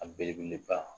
A belebeleba